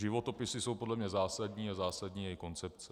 Životopisy jsou podle mne zásadní a zásadní je i koncepce.